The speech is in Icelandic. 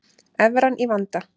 Evran í vanda